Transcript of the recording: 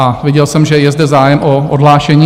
A viděl jsem, že je zde zájem o odhlášení?